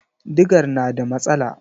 Digar na da matsala.